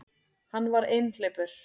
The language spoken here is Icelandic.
Hann var einhleypur.